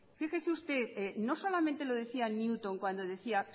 fíjese usted no solamente lo decía newton cuando decía